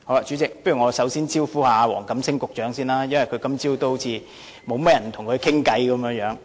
主席，我首先想對黃錦星局長發言，因為今早好像沒有甚麼議員跟他談話。